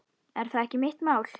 Er það ekki mitt mál?